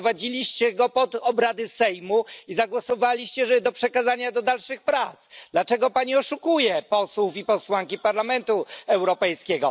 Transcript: Wprowadziliście go pod obrady Sejmu i zagłosowaliście za przekazaniem do dalszych prac. Dlaczego pani oszukuje posłów i posłanki Parlamentu Europejskiego?